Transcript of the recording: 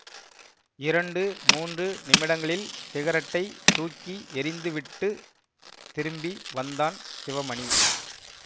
இரண்டு மூன்று நிமிடங்களில் சிகரெட்டைத் தூக்கி எறிந்து விட்டு திரும்பி வந்தான் சிவமணி